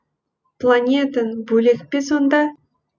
планетаң бөлек пе сонда